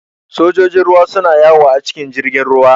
Sojojin ruwa su na yawo a cikin jirgin ruwa